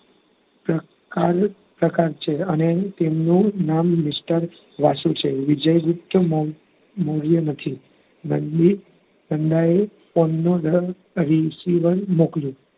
પ્રકાર પ્રકાર છે અને તે અને તેમનું નામ mister વાસુ છે. વિજય ગુપ્ત મો~મોર્ય નથી રણજીત નંદાએ phone ની અંદર receiver મોકલ્યું.